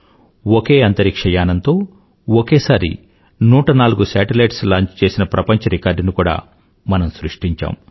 ఒకే అంతరిక్ష్యయానంతో ఒకేసారి 104 satellites launch చేసిన ప్రప్రంచరికార్డుని కూడా మనం సృష్టించాము